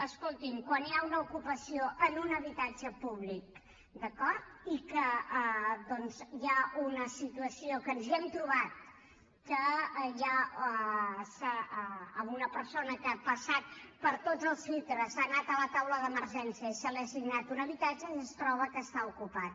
escolti’m quan hi ha una ocupació en un habitatge públic d’acord i que doncs hi ha una situació que ens hi hem trobat en què una persona que ha passat per tots els filtres ha anat a la taula d’emergència i se li ha assignat un habitatge i es troba que està ocupat